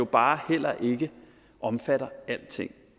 bare heller ikke omfatter alting